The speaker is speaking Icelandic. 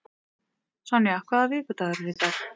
Sonja, hvaða vikudagur er í dag?